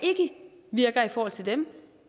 ikke virker i forhold til dem